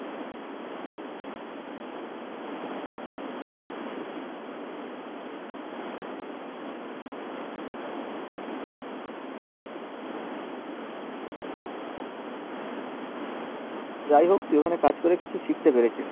যাই হোক এখানে কাজ করে তুই কিছু শিখতে পেরেছিস